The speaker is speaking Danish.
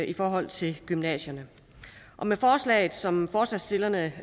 i forhold til gymnasierne med forslaget som forslagsstillerne